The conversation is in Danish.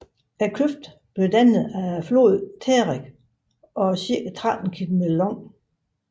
Kløften blev dannet af floden Terek og er cirka 13 km lang